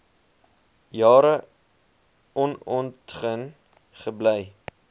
jare onontgin gebly